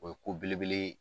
O ye ko belebele ye